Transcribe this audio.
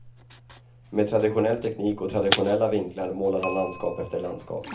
Med traditionell teknik och traditionella vinklar målar han landskap efter landskap.